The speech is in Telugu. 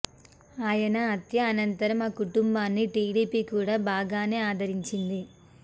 ఆయన హత్య అనంతరం ఆ కుటుంబాన్ని టీడీపీ కూడా బాగానే ఆదరించింది